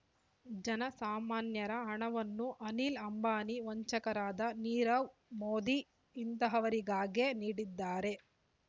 ಜನ ಸಾಮಾನ್ಯರ ಹಣವನ್ನು ಅನಿಲ್ ಅಂಬಾನಿ ವಂಚಕರಾದ ನೀರವ್ ಮೋದಿ ಇಂತಹವರಿಗಾಗೇ ನೀಡಿದ್ದಾರೆ